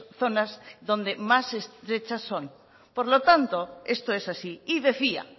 zonas donde más estrechas son por lo tanto esto es así y decía